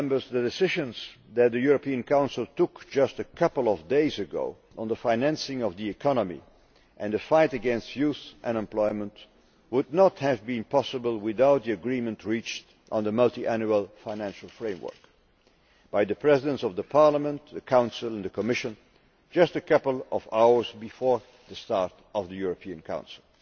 The decisions that the European Council took just a couple of days ago on the financing of the economy and the fight against youth unemployment would not have been possible without the agreement reached on the Multiannual Financial Framework by the Presidents of the Parliament, the Council and the Commission just a couple of hours before the start of the European Council.